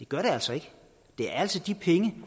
gør det altså ikke det er altså de penge